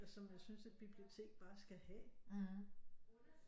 Som jeg synes et bibliotek bare skal have